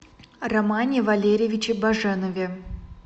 романе валерьевиче баженове